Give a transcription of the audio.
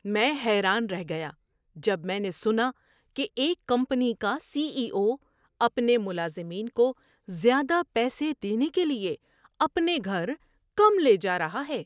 میں حیران رہ گیا جب میں نے سنا کہ ایک کمپنی کا سی ای او اپنے ملازمین کو زیادہ پیسے دینے کے لیے اپنے گھر کم لے جا رہا ہے۔